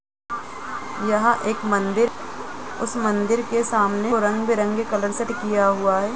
यहाँ एक मन्दिर| उस मन्दिर के सामने रंग बिरंगे कलर से किया हुआ है।